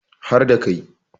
har da Kai